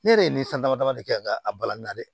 Ne yɛrɛ ye nin san dama dama de kɛ n ka a balani na dɛ